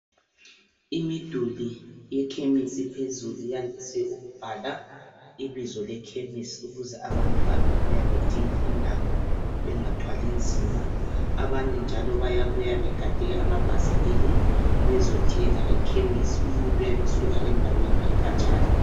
Imiduli yekhemisi phezulu yandise ukubhala ibizo lekhemisi ukuze abantu ababuya bedinga indawo bengathwalinzima. Abanye njalo bayabuya begade amabhasikili bezothenga ekhemisi umuntu uyabesuka endaweni ekhatshana.